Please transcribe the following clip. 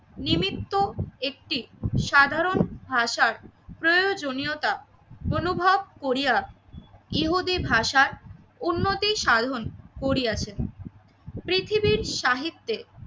নিমিত্ত একটি সাধারণ ভাষার প্রয়োজনীয়তা অনুভব করিয়া ইহুদি ভাষার উন্নতি সাধন করিয়াছেন। পৃথিবীর সাহিত্যে